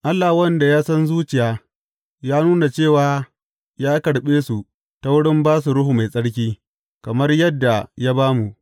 Allah, wanda ya san zuciya, ya nuna cewa ya karɓe su ta wurin ba su Ruhu Mai Tsarki, kamar yadda ya ba mu.